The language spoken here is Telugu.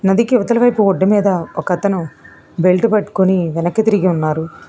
నదికి అవతలి వైపు ఒడ్డు మీద ఒక అతను బెల్టు పట్టుకుని వెనక్కి తిరిగి ఉన్నారు.